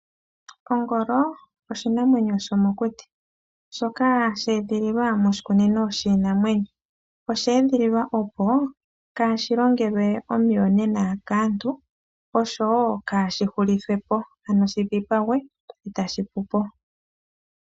Ongolo oshinamwenyo shomokuti shoka sha edhililwa moshikunino shiinamwenyo. Osha edhililwa opo kaashi longelwe omiyonena kaantu, oshowo kaashi dhipagwe, etashi hulupo.